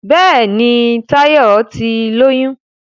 Béèni Tayo tí lóyún.